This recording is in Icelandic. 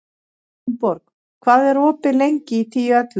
Gunnborg, hvað er opið lengi í Tíu ellefu?